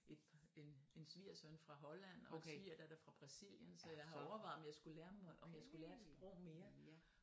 Et par en en svigersøn fra Holland og en svigerdatter fra Brasilien så jeg har overvejet om jeg skulle lære mig om jeg skulle lære et sprog mere